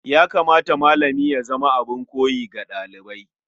Ya kamata malami ya zama abin koyi ga ɗalibansa.